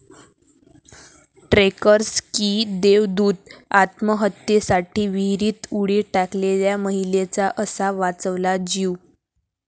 trekkers की देवदूत, आत्महत्येसाठी विहिरीत उडी टाकलेल्या महिलेचा असा वाचवला जीव